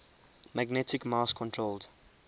magnetic mouse controlled